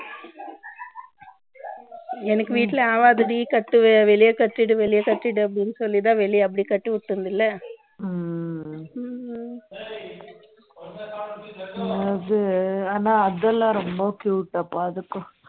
எனக்கு வீட்டில ஆவாதுடி கட்டிடு வெளியே கட்டிடு அப்படின்னு சொல்லி தான் வெளியில கட்டி வச்சிருந்தேன் அது ஆனா அதெல்லாம் ரொம்ப cute அப்பா